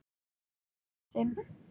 Föður þinn.